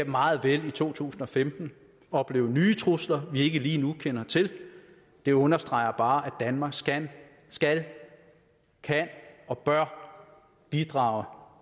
meget vel i to tusind og femten opleve nye trusler vi ikke lige nu kender til det understreger bare at danmark skal skal kan og bør bidrage